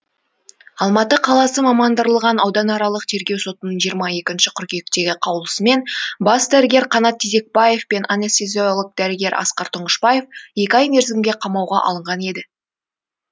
алматы қаласы мамандырылған ауданаралық тергеу сотының жиырма екінші қыркүйектегі қаулысымен бас дәрігер қанат тезекбаев пен анестезиолог дәрігер асқар тұңғышбаев екі ай мерзімге қамауға алынған еді